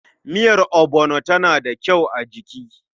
Miyar ogbono tana da kyau a jiki.